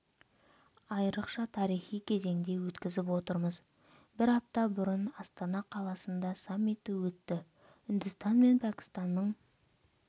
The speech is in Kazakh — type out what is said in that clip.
айрықша тарихи кезеңде өткізіп отырмыз бір апта бұрын астана қаласында саммиті өтті үндістан мен пәкістанның